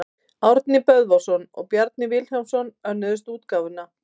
Árni Böðvarsson og Bjarni Vilhjálmsson önnuðust útgáfuna.